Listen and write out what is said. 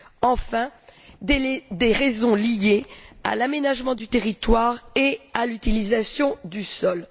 Enfin, il y a des raisons liées à l'aménagement du territoire et à l'utilisation du sol.